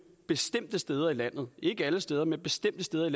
bestemte steder i landet ikke alle steder men bestemte steder